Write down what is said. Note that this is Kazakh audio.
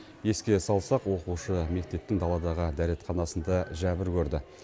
еске салсақ оқушы мектептің даладағы дәретханасында жәбір көрді